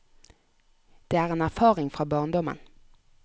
Det er en erfaring fra barndommen.